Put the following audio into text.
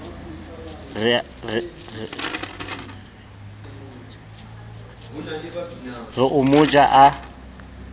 re o mo ja a